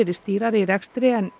virðist dýrara í rekstri en